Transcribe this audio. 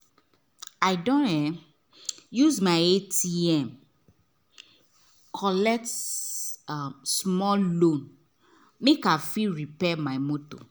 i don um use my atm collect um small loan make i fit repair my motor